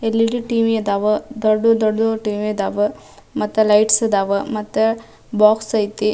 L E D TV ಅದಾವ ದೊಡ್ಡ್ ದೊಡ್ಡ್ ಟಿ ವಿ ಅದಾವ ಮತ್ತ ಲೈಟ್ಸ್ ಅದಾವ ಮತ್ತ ಬಾಕ್ಸ್ ಐತಿ.